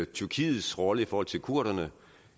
tyrkiets rolle i forhold til kurderne